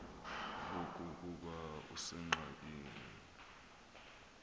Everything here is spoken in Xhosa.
ngoku ukuba usengxakini